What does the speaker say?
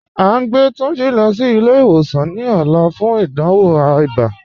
A ǹ gbẹ Tunjí lọ sí ilẹ̀-ìwòsàn ní òlà fún ìdánwò ìbá